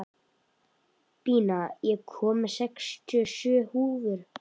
Bína, ég kom með sextíu og sjö húfur!